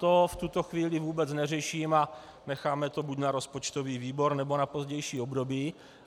To v tuto chvíli vůbec neřeším a necháme to buď na rozpočtový výbor, nebo na pozdější období.